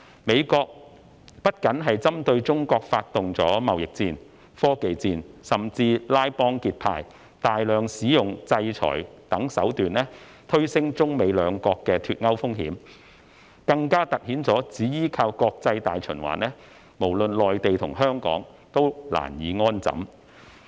美國不僅針對中國發動貿易戰、科技戰，甚至拉幫結派，大量使用制裁等手段，推升中美兩國的"脫鈎"風險，更突顯只依靠國際大循環，無論內地和香港均難以安枕。